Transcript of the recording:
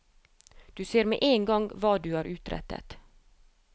Du ser med en gang hva du har utrettet.